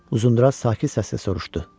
Uzunduraç sakit səslə soruşdu.